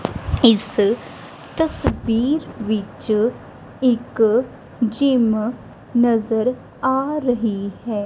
ਇਸ ਤਸਵੀਰ ਵਿੱਚ ਇੱਕ ਜਿਮ ਨਜ਼ਰ ਆ ਰਹੀ ਹੈ।